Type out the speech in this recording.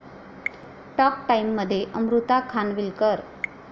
talk टाइममध्ये अमृता खानविलकर